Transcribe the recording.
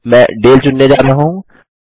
मैं डाले चुनने जा रहा हूँ